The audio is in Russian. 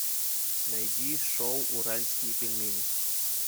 найди шоу уральские пельмени